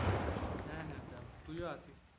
হ্যাঁ হ্যাঁ যাবো তুইও আসিস।